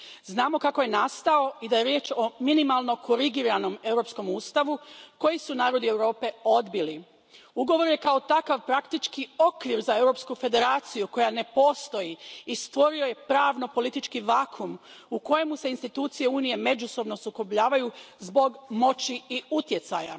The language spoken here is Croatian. Znamo kako je nastao i da je riječ o minimalno korigiranom europskom ustavu koji su narodi Europe odbili. Ugovor je, kao takav, praktički okvir za europsku federaciju koja ne postoji i stvorio je pravno politički vakuum u kojemu se institucije Unije međusobno sukobljavaju zbog moći i utjecaja.